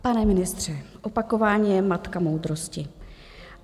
Pane ministře, opakování je matka moudrosti.